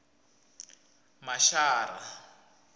mashara